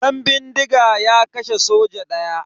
Dan bindiga ya kashe soja daya.